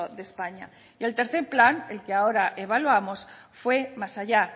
de españa y el tercero plan el que ahora evaluamos fue más allá